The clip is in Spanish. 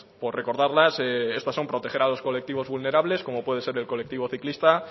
por recordarlas estas son proteger a los colectivos vulnerables como puede ser el colectivo ciclista